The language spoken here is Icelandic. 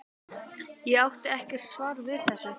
Ég átti ekkert svar við þessu.